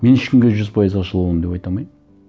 мен ешкімге жүз пайыз ашыла аламын деп айта алмаймын